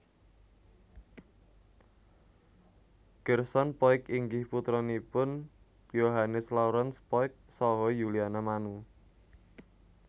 Gerson Poyk inggih putranipun Yohannes Laurens Poyk saha Yuliana Manu